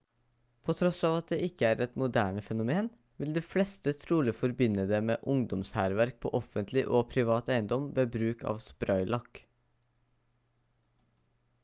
på tross av at det ikke er et moderne fenomen vil de fleste trolig forbinde det med ungdomshærverk på offentlig og privat eiendom ved bruk av spraylakk